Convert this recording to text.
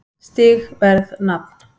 Stig Verð Nafn